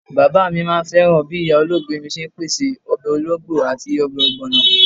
Bàbá mi máà ń fẹ́ràn bí ìyá olóògbé mi ṣe ń pèsè ọbẹ̀ ológbo àti ọbẹ̀ ogbono.